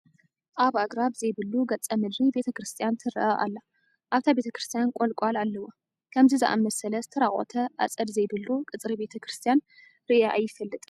ኣብ ኣግራብ ዘይብሉ ገፀ ምድሪ ቤተ ክርስቲያን ትርአ ኣላ፡፡ ኣብታ ቤተ ክርስቲያን ቆልቋል ኣለዋ፡፡ ከምዚ ዝኣምሰለ ዝተራቖተ ኣፀድ ዘይብሉ ቅፅሪ ቤተ ክርስቲያን ሪአ ኣይፈልጥን፡፡